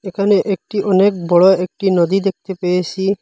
এখানে একটি অনেক বড় একটি নদী দেখতে পেয়েসি।